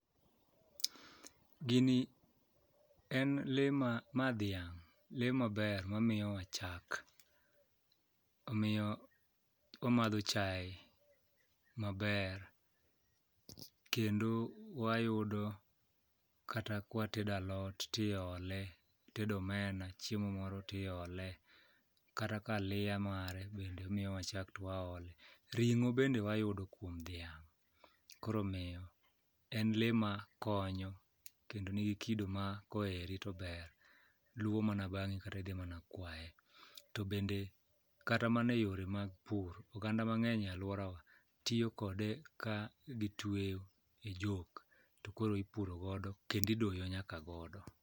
Ma dhiang', lee maber mamiyowa chak. Omiyo wamadho chae maber kendo wayudo kata kwatedo alot tiole kitedo omena chiemo moro tiole kata ka aliya mare bende omiyowa chak twaole, ring'o bende wayudo kuom dhiang', koro omiyo en lee makonyo kendo nigi kido ma koeri tober, luwo mana bang'i kata idhi mana kwaye. To bende kata mana e yore mag pur, oganda mang'eny e alworawa tiyo kode ka gitweyo e jok to koro ipuro godo kendo idoyo nyaka godo.